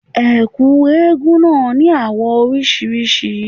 Ẹ̀kú eégún náà ní àwọ̀ oríṣiríṣi.